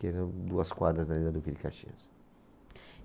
que eram duas quadras dali da Duque de Caxias